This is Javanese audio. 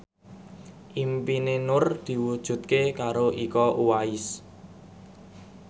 impine Nur diwujudke karo Iko Uwais